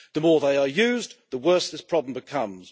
The more they are used, the worse this problem becomes.